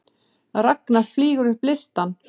Ragna flýgur upp listann